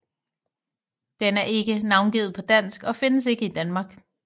Den er ikke navngivet på dansk og findes ikke i Danmark